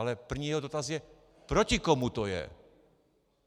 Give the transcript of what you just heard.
Ale první jeho dotaz je: proti komu to je.